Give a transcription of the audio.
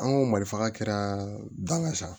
An go malifaga kɛra da sa